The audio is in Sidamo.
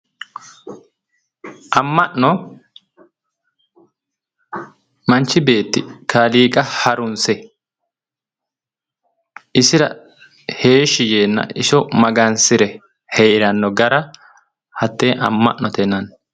Amma'no manchi beetti kaaliiqa harunse isira heeshshi yeenna iso magansire heeranno gara hattee amma'note yinanni